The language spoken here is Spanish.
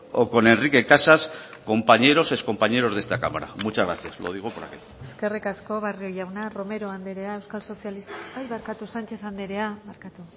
o con enrique casas ex compañeros de esta cámara muchas gracias lo digo por aquel eskerrik asko barrio jauna sánchez andrea